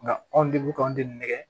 Nka anw de bɛ k'anw den nɛgɛ